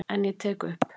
En ég tek upp.